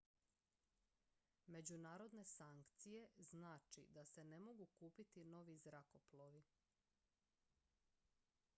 međunarodne sankcije znači da se ne mogu kupiti novi zrakoplovi